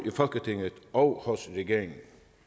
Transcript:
i folketinget og hos regeringen